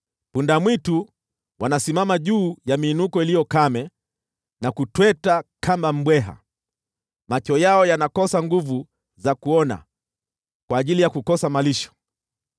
Punda-mwitu wanasimama juu ya miinuko iliyo kame na kutweta kama mbweha; macho yao yanakosa nguvu za kuona kwa ajili ya kukosa malisho.”